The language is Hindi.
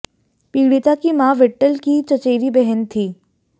पीड़िता की मां विट्ठल की चचेरी बहन थी